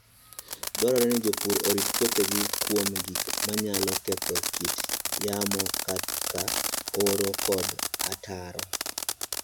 Dwarore ni jopur orit puothegi kuom gik manyalo ketho kit yamo kaka oro kod ataro.